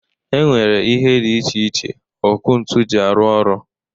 E nwere ihe dị iche iche ọkụ ntu jị arụ ọrụ